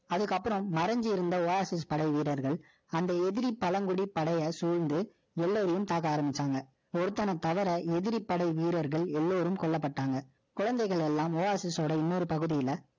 அதுக்கப்புறம், மறைஞ்சு இருந்த, Oasis படை வீரர்கள், அந்த எதிரி பழங்குடி படையை சூழ்ந்து, எல்லோரையும் பார்க்க ஆரம்பிச்சாங்க. ஒருத்தனை ஒருத்தனை தவிர, எதிரி படை வீரர்கள், எல்லாரும் கொல்லப்பட்டாங்க. குழந்தைகள் எல்லாம், Oasis ஓட, இன்னொரு பகுதியில,